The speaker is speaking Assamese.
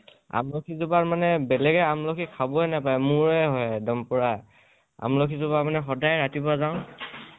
আমলখি জোপা মানে বেলেগে আমলখি খাবৈ নাপায়, মোৰে হয়, এক্দম পূৰা । আমলখি জোপা সদায় ৰাতিপোৱা যাওঁ